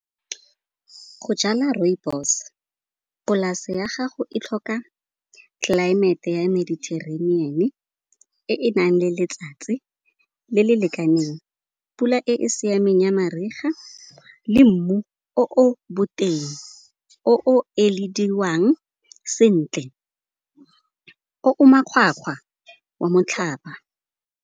Go jala rooibos, polase ya gago e tlhoka tlelaemete ya mediterranean-e e nang le letsatsi le le lekaneng, pula e e siameng ya mariga le mmu o boteng. O o elediwang sentle, o o makgwakgwa wa motlhaba.